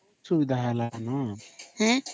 ସୁବିଧା ହେଲେନ